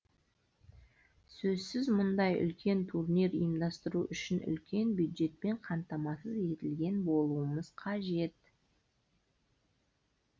сөзсіз мұндай үлкен турнир ұйымдастыру үшін үлкен бюджетпен қамтамасыз етілген болуымыз қажет